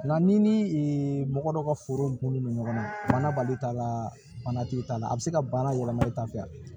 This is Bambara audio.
Nka ni ee mɔgɔ dɔ ka foro kun don ɲɔgɔnna banabali t'a la bana t'i t'a la a bɛ se ka baara yɛlɛma ta fɛ